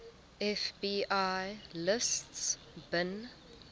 fbi lists bin